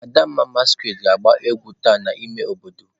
Adamma masquerade ga agba egwu taa n'ime obodo.